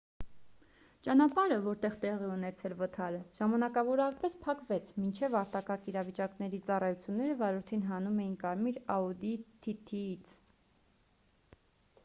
ճանապարհը որտեղ տեղի է ունեցել վթարը ժամանակավորապես փակվեց մինչ արտակարգ իրավիճակների ծառայությունները վարորդին հանում էին կարմիր audi tt ից